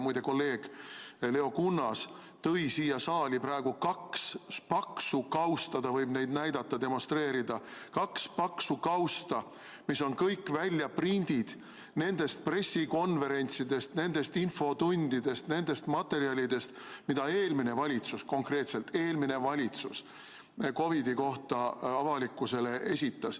Muide, kolleeg Leo Kunnas tõi siia saali praegu kaks paksu kausta, ta võib neid näidata, demonstreerida, kaks paksu kausta, mis on kõik väljaprindid nendest pressikonverentsidest, nendest infotundidest, nendest materjalidest, mida eelmine valitsus, konkreetselt eelmine valitsus COVID-i kohta avalikkusele esitas.